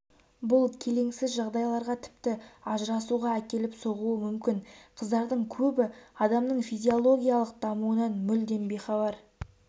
бұл келеңсіз жағдайларға тіпті ажырасуға әкеліп соғуы мүмкін қыздардың көбі адамның физиологиялық дамуынан мүлдем бейхабар